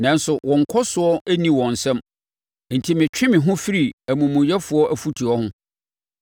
Nanso, wɔn nkɔsoɔ no nni wɔn nsam, enti metwe me ho firi amumuyɛfoɔ afutuo ho.